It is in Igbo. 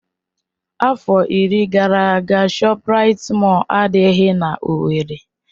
Afọ iri gara aga ShopRite Mọll adịghị n'Owerri.